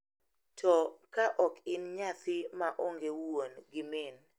To, ka ok in nyathi ma onge wuon gi min,